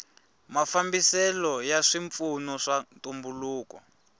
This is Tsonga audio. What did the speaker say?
mafambiselo ya swipfuno swa ntumbuluko